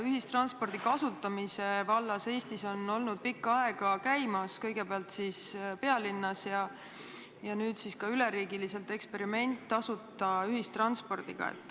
Ühistranspordi kasutamise vallas on Eestis olnud pikka aega käimas – kõigepealt pealinnas ja nüüd ka üle riigi – eksperiment tasuta ühistranspordiga.